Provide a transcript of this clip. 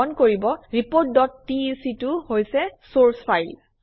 মন কৰিব reportটেক টো হৈছে চৰ্চ ফাইল